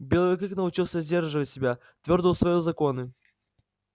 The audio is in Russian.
белый клык научился сдерживать себя твёрдо усвоил законы